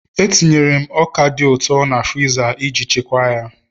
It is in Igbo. Etinyere m ọka dị ụtọ na friza iji chekwaa ya